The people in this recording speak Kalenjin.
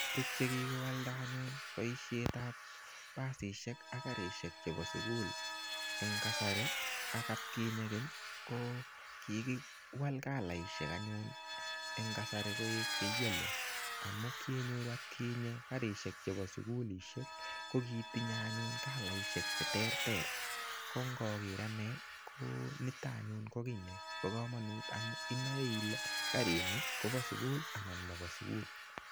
Tuguk che kigowalda anyun boisiet ab basishek ak karishek chebo sugul en kasari ak atkinye keny ko kigiwal kalaishek anyun en kasari koik che yellow amun kionyory atkinye karishek chebo sugulishek ko kitinye anyun kalaishek che terter ko ngoker ane ko niton anyun ko kiy nebo komonut amun inoe ile karini kobo sugul anan mobo sugul.